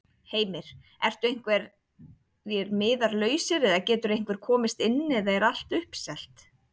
Heimir: Ertu einhverjir miðar lausir eða getur einhver komist inn eða er allt uppselt?